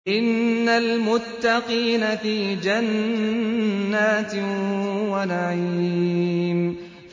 إِنَّ الْمُتَّقِينَ فِي جَنَّاتٍ وَنَعِيمٍ